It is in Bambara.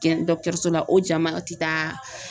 la o jama ti taa.